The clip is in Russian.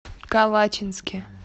калачинске